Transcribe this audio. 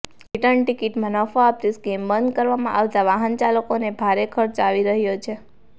return ટીકીટમાં નફો આપતી સ્કિમ બંધ કરવામાં આવતા વાહનચાલકોને ભારેખમ ખર્ચ આવી રહ્યો છે